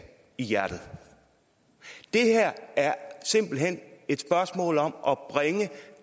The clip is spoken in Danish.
i hjertet det her er simpelt hen et spørgsmål om at bringe